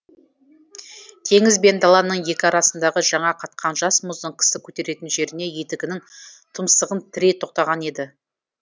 теңіз бен даланың екі арасындағы жаңа қатқан жас мұздың кісі көтеретін жеріне етігінің тұмсығын тірей тоқтаған еді